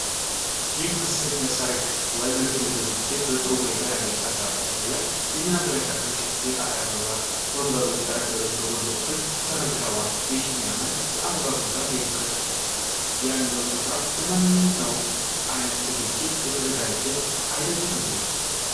ይህ ምስል ለሠርግ ወይም ለትልቅ ዝግጅት በጥሩ ሁኔታ ያጌጠ አዳራሽ ያሳያል። የሚያብረቀርቅ የጣሪያ መብራቶች፣ ። ወንበሮችና ጠረጴዛዎች በጎን በኩል ተደርድረዋል። ይህ የሚያምር የአበባና የመብራት ድምቀት ያለው ስፍራ ለማንኛውም አይነት ዝግጅት የተዘጋጀ አይደለም እንዴ?